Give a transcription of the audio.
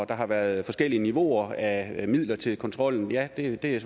der har været forskellige niveauer af midler til kontrollen ja det er